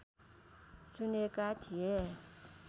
चुनेका थिए